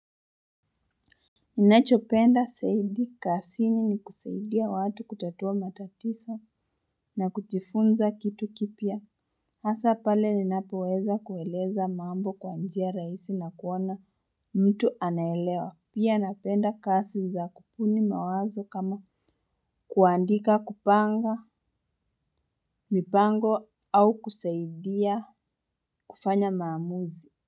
Ninachopenda zaidi kazini ni kusaidia watu kutatua matatizo na kujifunza kitu kipya. Asa pale ninapo weza kueleza mambo kwa njia rahisi na kuona mtu anaelewa. Pia napenda kazi za kubuni mawazo kama kuandika kupanga mipango au kusaidia kufanya maamuzi.